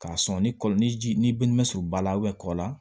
K'a sɔn ni kɔlɔn ni ji ni bin bɛ surunba la kɔ la